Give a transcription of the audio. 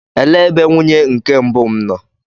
Elee ebe nwunye nke mbụ m nọ?